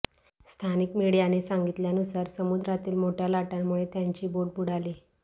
स्थानीक मीडियाने सांगितल्यानुसार समुद्रातील मोठ्या लाटांमुळे त्यांची बोट बुडाली